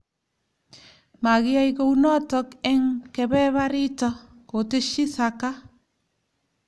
Magiyai kounoto eng kebebarito ," koteshi Xhaka